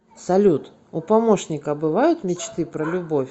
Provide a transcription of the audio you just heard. салют у помощника бывают мечты про любовь